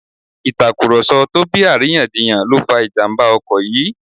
Ìtàkùrọ̀sọ tó bí àríyànjiyàn ló fa ìjàmbá ọkọ̀ yìí